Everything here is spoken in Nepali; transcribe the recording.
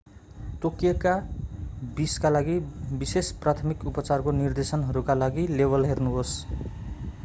तोकिएको विषका लागि विशेष प्राथमिक उपचारको निर्देशनहरूका लागि लेबल हेर्नुहोस्‌।